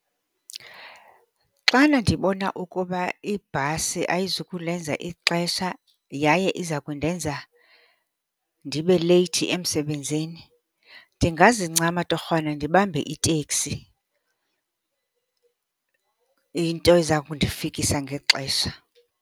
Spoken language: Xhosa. Xana ndibona ukuba ibhasi ayizukulenza ixesha yaye iza kundenza ndibe leyithi emsebenzini ndingazincama torhwana ndibambe iteksi, into eza kundifikisa ngexesha.